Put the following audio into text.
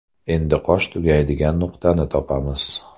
Endi qosh tugaydigan nuqtani topamiz.